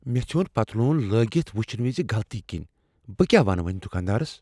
مےٚ ژھیوٚن پتلون لاگتھ وچھنہٕ وز غلطی کِنیۍ ۔ بہٕ کیٛاہ ونہٕ وۄنۍ دکاندارس؟